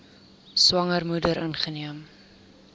swanger moeder ingeneem